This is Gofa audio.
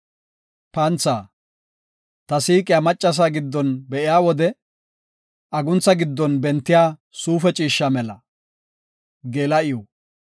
Ta siiqiya maccasa giddon be7iya wode, aguntha giddon bentiya suufe ciishsha mela.